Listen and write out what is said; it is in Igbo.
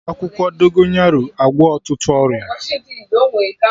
E ji akwụkwọ Dogonyaro agwọ ọtụtụ ọrịa